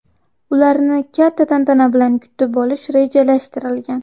Ularni katta tantana bilan kutib olish rejalashtirilgan.